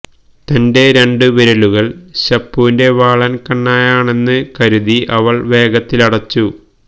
തന്റെ രണ്ടു വിരലുകൾ ശുപ്പുവിന്റെ വാളൻ കുണ്ണയാണെന്ന് കരുതി അവൾ വേഗത്തിലടിച്ചു